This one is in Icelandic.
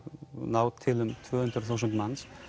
ná til um tvö hundruð þúsund manns